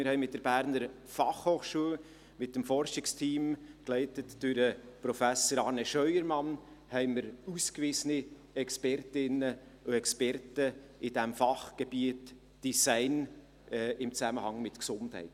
Wir haben mit dem Forschungsteam der BFH, geleitet durch Prof. Dr. Arne Scheuermann, ausgewiesene Expertinnen und Experten im Fachgebiet Design in Zusammenhang mit Gesundheit.